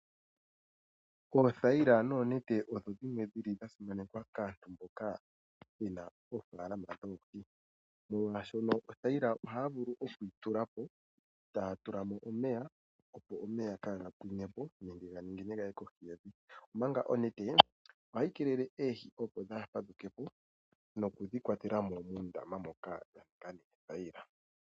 Oothayila noonete odho dhimwe dhili dha simanekwa kaantu mboka yena ofaalama dhoohi, molwaashono mothayila ohaya vulu oku tula po, e taya tula mo omeya opo omeya kaaga pwine po nenge ganingine gaye kohi yevi, omanga onete ohayi keelele opo oohi dhaa fadhuke po nenge oku dhi kwatela mo muundama moka